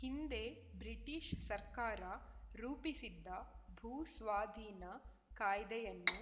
ಹಿಂದೆ ಬ್ರಿಟಿಷ್‌ ಸರ್ಕಾರ ರೂಪಿಸಿದ್ದ ಭೂ ಸ್ವಾಧೀನ ಕಾಯ್ದೆಯನ್ನು